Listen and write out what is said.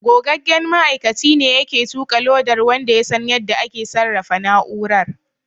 Gogaggen ma'aikaci ne yake tuƙa lodar wanda ya san yadda ake sarrafa na'urar.